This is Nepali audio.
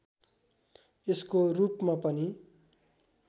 यसको रूपमा पनि